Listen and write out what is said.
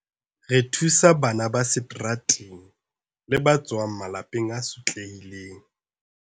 Re thusa bana ba seterateng le ba tswang malapeng a sotlehileng.